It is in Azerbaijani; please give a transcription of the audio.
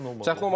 Çətin olmasın.